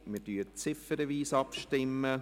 Wir stimmen ziffernweise ab.